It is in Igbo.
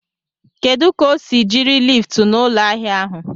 Kedụ ka o si jiri liftu n'ụlọ ahịa ahụ?